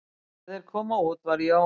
Þegar þeir komu út var Jón